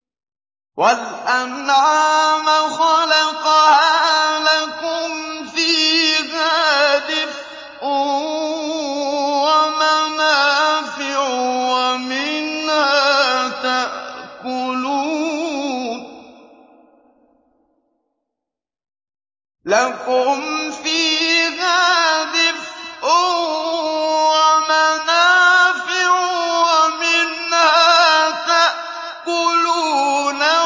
وَالْأَنْعَامَ خَلَقَهَا ۗ لَكُمْ فِيهَا دِفْءٌ وَمَنَافِعُ وَمِنْهَا تَأْكُلُونَ